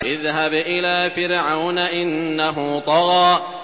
اذْهَبْ إِلَىٰ فِرْعَوْنَ إِنَّهُ طَغَىٰ